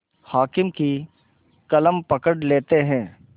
हाकिम की कलम पकड़ लेते हैं